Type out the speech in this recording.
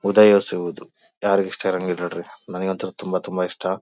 ಉದಯಿಸೋದು ಯಾರಗ್ ಇಷ್ಟ ಇಲ್ಲ ಇರ್ರಿ ನೋಡ್ರಿ ನಂಗಂತೂ ತುಂಬಾ ತುಂಬಾ ಇಷ್ಟ.